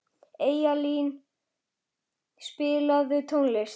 Eyjalín, spilaðu tónlist.